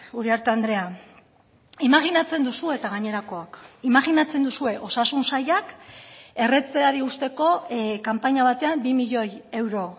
uriarte andrea imajinatzen duzu eta gainerakoak imajinatzen duzue osasun sailak erretzeari uzteko kanpaina batean bi milioi euro